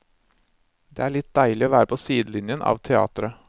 Det er litt deilig å være på sidelinjen av teatret.